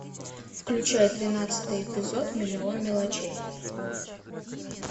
включай тринадцатый эпизод миллион мелочей